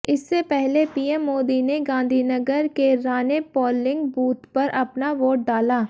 इससे पहले पीएम मोदी ने गांधीनगर के रानिप पोलिंग बूथ पर अपना वोट डाला